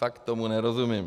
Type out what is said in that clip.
Fakt tomu nerozumím.